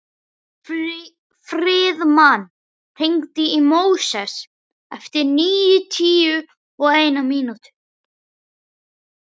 Friðmann, hringdu í Móses eftir níutíu og eina mínútur.